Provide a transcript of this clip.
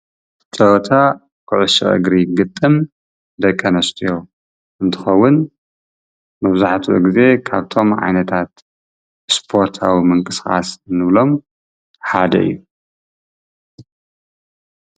ፀወታ ኩዕሾ እግሪ ግጥም ዳቂ አንስትዮ እንትኸውን ፤መብዛሕትኡ ግዜ ካብቶም ዓይነታት እስፖርታዊ ምንቅስቃስ ንብሎም ሓደ እዩ፡፡